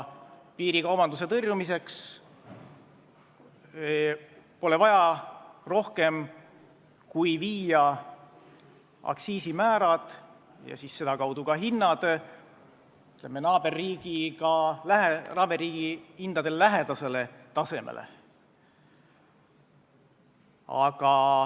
Piirikaubanduse tõrjumiseks pole vaja rohkem, kui viia aktsiisimäärad ja sedakaudu ka hinnad naaberriigi hindadega lähedasele tasemele.